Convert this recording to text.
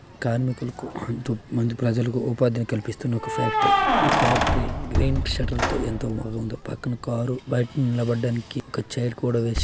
కార్మికులకు ఎంతో మంది ప్రజలకు ఉపాధి కల్పిస్తున్న ఒక ఫ్యాక్టరీ ఈ ఫ్యాక్టరీ గ్రీన్ సెట్టర్ తో ఎంతో బాగుందో పక్కన కార్ బయట నిలబడటానికి ఒక చైర్ కూడా వేశా--